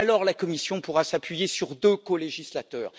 Alors la Commission pourra s'appuyer sur deux colégislateurs.